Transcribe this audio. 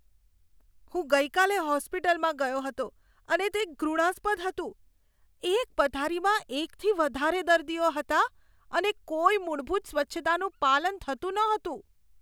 હું ગઈકાલે હોસ્પિટલમાં ગયો હતો અને તે ઘૃણાસ્પદ હતું. એક પથારીમાં એકથી વધારે દર્દીઓ હતાં અને કોઈ મૂળભૂત સ્વચ્છતાનું પાલન થતું નહોતું.